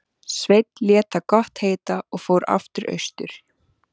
Sveinn lét það gott heita og fór aftur austur.